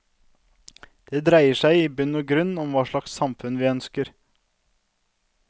Det dreier seg i bunn og grunn om hva slags samfunn vi ønsker.